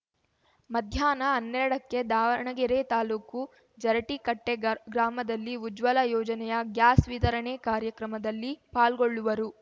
ಮಧ್ಯಾಹ್ನ ಹನ್ನೆರಡಕ್ಕೆ ದಾವಣಗೆರೆ ತಾಲೂಕು ಜರಟೀಕಟ್ಟೆಗರ್ ಗ್ರಾಮದಲ್ಲಿ ಉಜ್ವಲ ಯೋಜನೆಯ ಗ್ಯಾಸ್‌ ವಿತರಣೆ ಕಾರ್ಯಕ್ರಮದಲ್ಲಿ ಪಾಲ್ಗೊಳ್ಳುವರು